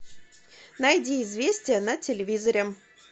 найди известия на телевизоре